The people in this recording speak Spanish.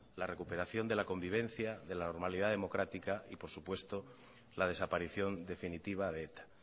la recuperación de la convivencia de la normalidad democrática y por supuesto la desaparición definitiva de eta